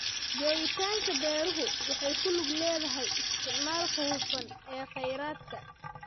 Joogitaanka beeruhu waxay ku lug leedahay isticmaalka hufan ee kheyraadka.